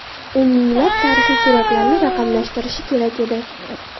U minglab tarixiy suratlarni raqamlashtirishi kerak edi.